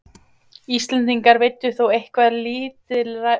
Íslendingar veiddu þó eitthvað lítilræði af lúðu til innanlandsneyslu.